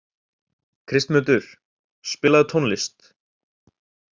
Kristmundur, spilaðu tónlist.